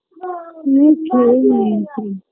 হুম খেয়ে নিয়েছি